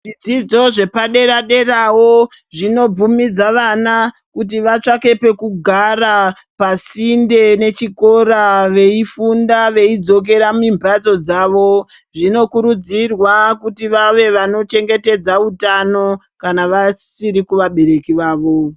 Zvidzidzo zvepadera-derawo zvinobvumidza vana kuti vatsvake pekugara pasinde nechikora veifunda veidzokera mimbatso dzavo. Zvinokurudzirwa kuti vave vano chengetedza utano kana vasiri kuvabereki vavo.